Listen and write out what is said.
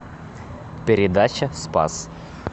передача спас